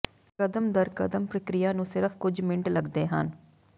ਕਦਮ ਦਰ ਕਦਮ ਪ੍ਰਕਿਰਿਆ ਨੂੰ ਸਿਰਫ ਕੁਝ ਮਿੰਟ ਲੱਗਦੇ ਹਨ